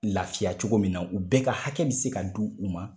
Laafiya cogo min na u bɛɛ ka hakɛ bɛ se ka di u ma.